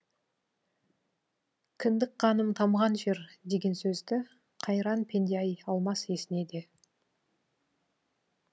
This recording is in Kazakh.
кіндік қаным тамған жер деген сөзді қайран пенде әй алмас есіне де